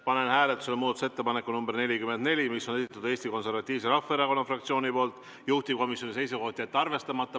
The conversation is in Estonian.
Panen hääletusele muudatusettepaneku nr 44, mille on esitanud Eesti Konservatiivse Rahvaerakonna fraktsioon, juhtivkomisjoni seisukoht on jätta see arvestamata.